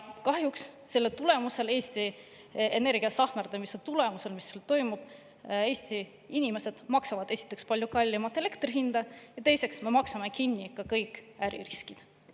Kahjuks selle tõttu, Eesti Energia sahmerdamise tõttu, mis praegu toimub, Eesti inimesed maksavad, esiteks, palju kallimat elektri hinda, ja teiseks, me maksame kinni ka kõik äririskid.